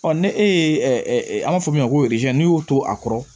ni e ye an b'a fɔ min ma ko n'i y'o to a kɔrɔ